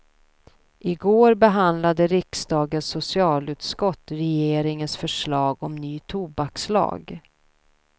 Igår behandlade riksdagens socialutskott regeringens förslag om ny tobakslag.